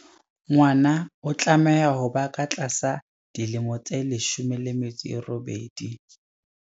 Ngwana o tlameha ho ba ka tlasa dilemo tse 18.